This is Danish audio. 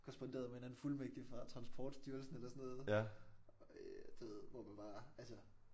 Korresponderet med en anden fuldmægtig fra transportstyrelsen eller sådan noget øh du ved hvor man bare altså